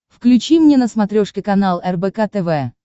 включи мне на смотрешке канал рбк тв